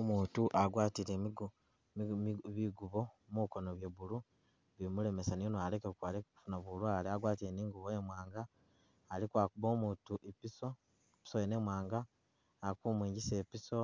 Umutu agwatile bigubo mukono bye blue bimulemes niyoni aleke kufuna bulwale agwatile ni ingubo imwanga aliko akuba umutu ipiso ipiso yene imwanga ali kumwigisa ipiso